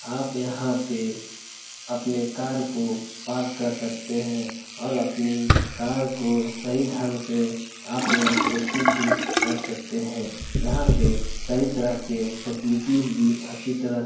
आप यहाँ पे अपने कार को पार्क कर सकते है और आप अपनी कार को सही ढंग से आप यहाँ पे सुरक्षित भी रख सकते है यहाँ पे सही तरह के फैसिलिटी अच्छी तरह से --